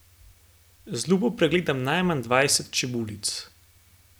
Z lupo pregledam najmanj dvajset čebulic.